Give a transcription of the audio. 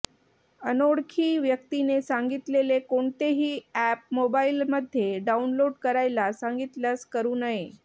अनोळखी व्यक्तीने सांगितलेले कोणतेही अॅप मोबाअलमध्ये डाउनलोड करायला सांगितल्यास करू नये